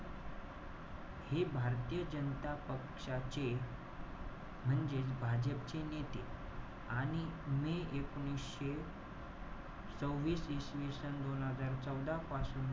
हे भारतीय जनता पक्षाचे म्हणजेच, भाजप चे नेते. आणि मे एकोणीशे सव्हिस इसवी सन दोन हजार चौदा पासून,